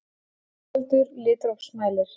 Einfaldur litrófsmælir.